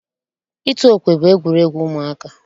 Ịtụ okwe bụ egwuregwu ụmụaka.